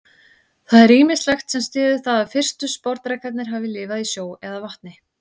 Það er ýmislegt sem styður það að fyrstu sporðdrekarnir hafi lifað í sjó eða vatni.